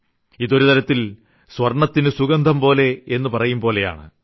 ഇത് ഒരുതരത്തിൽ സ്വർണ്ണത്തിനു സുഗന്ധംപോലെ എന്നു പറയുമ്പോലെയാണ്